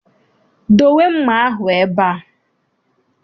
Dowe mma ahụ ebe a!